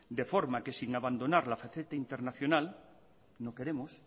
de forma que sin abandonar la faceta internacional no queremos